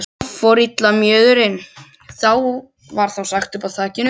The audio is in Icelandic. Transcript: Þar fór illa mjöðurinn, var þá sagt uppi á þakinu.